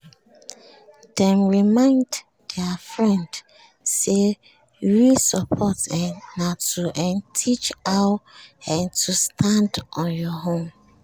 dem remind their friend say real support um na to um teach how um to stand on your own